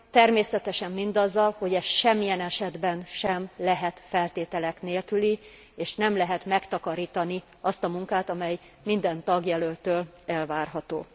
Természetesen mindazzal, hogy ez semmilyen esetben sem lehet feltételek nélküli, és nem lehet megtakarítani azt a munkát, amely minden tagjelölttől elvárható.